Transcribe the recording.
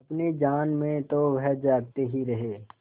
अपनी जान में तो वह जागते ही रहे